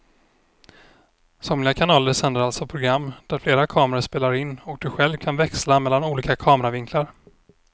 Somliga kanaler sänder alltså program där flera kameror spelar in och du kan själv växla mellan olika kameravinklar.